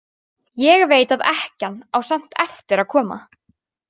Ég veit að ekkjan á samt eftir að koma.